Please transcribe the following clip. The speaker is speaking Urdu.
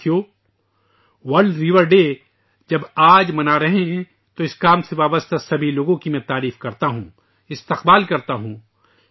دوستو ، جب ہم آج 'ورلڈ ریور ڈے' منا رہے ہیں ، میں اس کام کے لیے وقف ہر ایک کی ستائش کرتا ہوں، مبارکباد دیتا ہوں